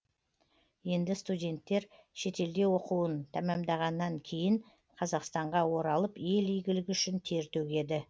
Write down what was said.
енді студенттер шетелде оқуын тәмамдағаннан кейін қазақстанға оралып ел игілігі үшін тер төгеді